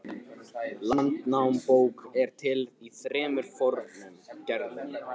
Landnámabók er til í þremur fornum gerðum.